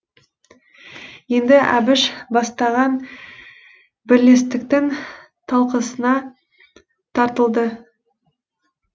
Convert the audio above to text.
енді әбіш бастаған бірлестіктің талқысына тартылды